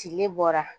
Tile bɔra